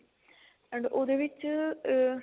and ਉਹਦੇ ਵਿੱਚ ah